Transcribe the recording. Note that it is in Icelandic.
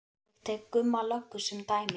Ég tek Gumma löggu sem dæmi.